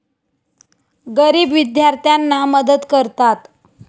गरीब विद्यार्थ्यांना मदत करतात.